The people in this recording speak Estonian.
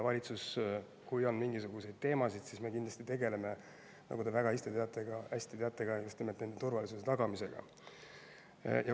Kui on mingisuguseid teemasid, siis valitsus kindlasti tegeleb, nagu te väga hästi teate ka, just nimelt nende turvalisuse tagamisega.